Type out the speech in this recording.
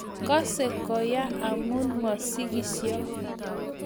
kose koya amu masigisio.